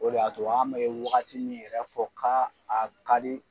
O de y'a to an bɛ wagati min yɛrɛ fɔ ka a ka di